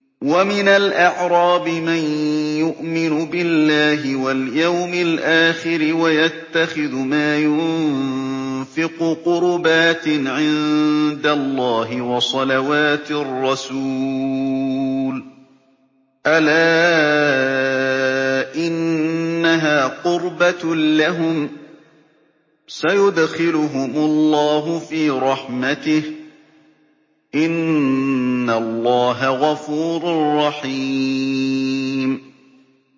وَمِنَ الْأَعْرَابِ مَن يُؤْمِنُ بِاللَّهِ وَالْيَوْمِ الْآخِرِ وَيَتَّخِذُ مَا يُنفِقُ قُرُبَاتٍ عِندَ اللَّهِ وَصَلَوَاتِ الرَّسُولِ ۚ أَلَا إِنَّهَا قُرْبَةٌ لَّهُمْ ۚ سَيُدْخِلُهُمُ اللَّهُ فِي رَحْمَتِهِ ۗ إِنَّ اللَّهَ غَفُورٌ رَّحِيمٌ